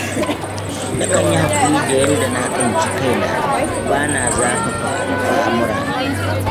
Na kan yi haƙuri da yanda na tsinci kaina, ba na zafafa al'amura.